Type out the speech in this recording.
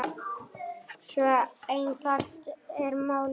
Svo einfalt er málið ekki.